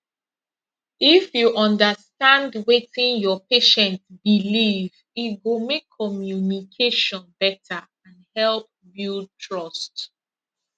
if you understand wetin your patient believe e go make communication better and help build trust